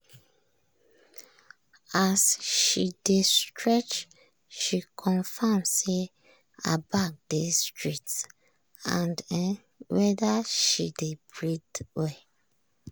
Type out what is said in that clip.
as she dey stretch she confirm say her back dey straight and um wether she dey breath well.